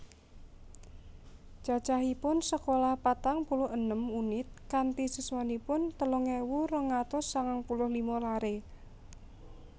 Cacahipun Sekolah patang puluh enem unit kanti siswanipun telung ewu rong atus sangang puluh lima lare